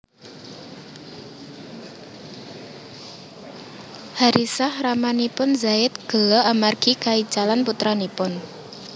Haritsah ramanipun Zaid gela amargi kaicalan putranipun